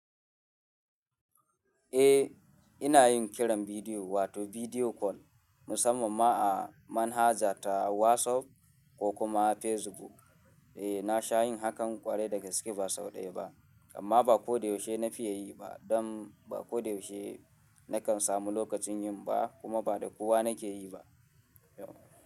Eh, ina yin kiran bidiyo wato bidiyo call musamman ma a manhaja ta WhatsApp ko kuma Facebook. Eh, na sha yin hakan ƙwarai daga ba sau ɗaya ba, amma ba ko da yaushe na fiye yi ba. Don ba ko da yaushe na kan samu lokacin yin ba kuma ba da kowa na ke yi ba.